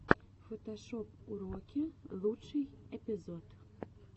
фотошоп уроки лучший эпизод